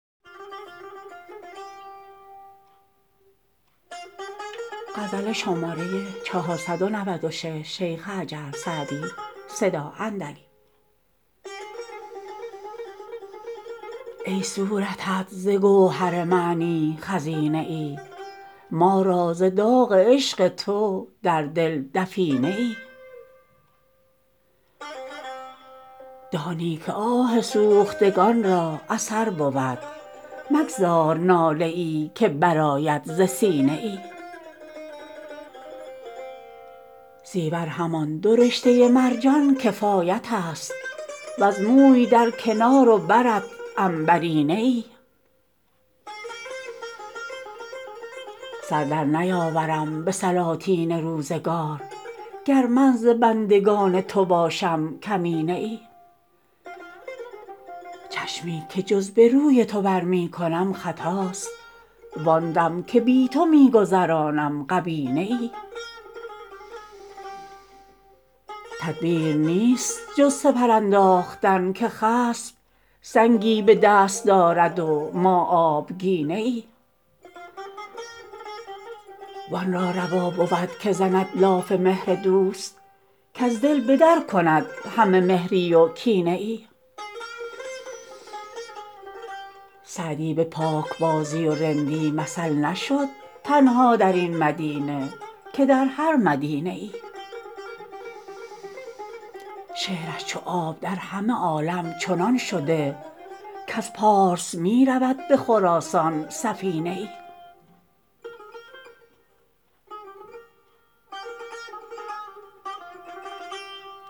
ای صورتت ز گوهر معنی خزینه ای ما را ز داغ عشق تو در دل دفینه ای دانی که آه سوختگان را اثر بود مگذار ناله ای که برآید ز سینه ای زیور همان دو رشته مرجان کفایت است وز موی در کنار و برت عنبرینه ای سر در نیاورم به سلاطین روزگار گر من ز بندگان تو باشم کمینه ای چشمی که جز به روی تو بر می کنم خطاست وآن دم که بی تو می گذرانم غبینه ای تدبیر نیست جز سپر انداختن که خصم سنگی به دست دارد و ما آبگینه ای وآن را روا بود که زند لاف مهر دوست کز دل به در کند همه مهری و کینه ای سعدی به پاکبازی و رندی مثل نشد تنها در این مدینه که در هر مدینه ای شعرش چو آب در همه عالم چنان شده کز پارس می رود به خراسان سفینه ای